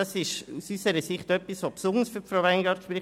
Das spricht aus unserer Sicht besonders für Frau Weingart.